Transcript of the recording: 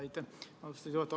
Aitäh, austatud juhataja!